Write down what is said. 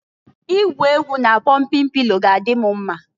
Igwu egwu na jọmpịn pilo na-adị m mma.